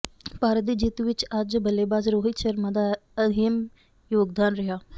ਭਾਰਤ ਦੀ ਜਿੱਤ ਵਿੱਚ ਅੱਜ ਬੱਲੇਬਾਜ਼ ਰੋਹਿਤ ਸ਼ਰਮਾ ਦਾ ਅਹਿਮ ਯੋਗਦਾਨ ਰਿਹਾ